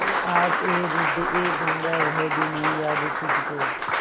ऐ आबएरूदएगंगा वह दिन हैं याद तुझको